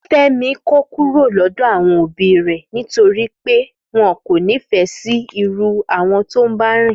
Fẹ́mi kó kúrò lọ́dọ̀ àwọn òbí rè torí wọ́n kò nífẹ̀ẹ́ sí irú àwọn tó ń bá rìn